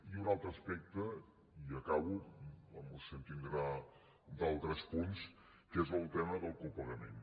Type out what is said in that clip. i un altre aspecte i acabo i la moció tindrà altres punts que és el tema del copagament